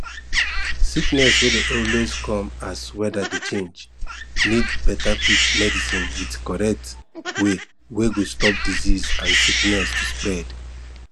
sickness wey dey always dey come as weather dey change need better quick medicine with correct way wey go stop disease and sickness to spread